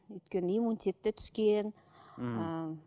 өйткені иммунитет те түскен ммм ыыы